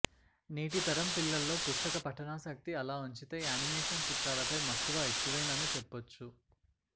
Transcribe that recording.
నేటి తరం పిల్లల్లో పుస్తక పఠనాసక్తి అలా ఉంచితే యానిమేషన్ చిత్రాల పై మక్కువ ఎక్కువేనని చెప్పొచ్చు